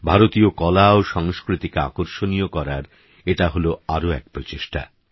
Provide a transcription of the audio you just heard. ভারতীয় কলা ও সংস্কৃতিকে আকর্ষণীয় করার এটা হলো আরো এক প্রচেষ্টা